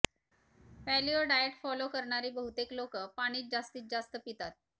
paleo diet follow करणारी बहुतेक लोक पाणीच जास्तीत जास्त पितात